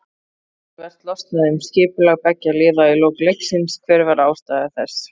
Töluvert losnaði um skipulag beggja liða í lok leiksins, hver var ástæða þess?